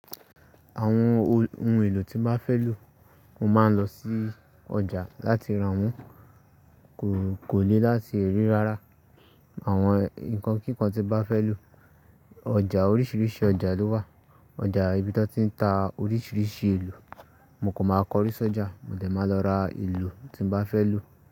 Àwọn ohun èlò tí n bá fẹ́ lò, mo máa ń lọ sí ọjà láti ra wọ́n. Kò le láti rí rárá àwọn nǹkan kíkan tí n bá fẹ́ lò. Ọjà oríṣiríṣi ọjà ló wà. Ọjà ibi tí wọ́n ti ń ta oríṣiríṣi èlò, mo kò ma kọ̀ríṣi ọjà, mo dẹ̀ máa lọ ra èlò tí n bá fẹ́ lò.